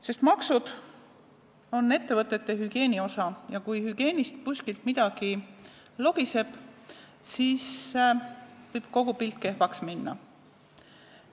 Sest maksud on ettevõtete hügieeni osa ja kui hügieenis kuskil midagi logiseb, siis võib kogu pilt kehvaks minna.